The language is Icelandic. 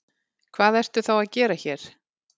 Hvað ertu þá að gera hér?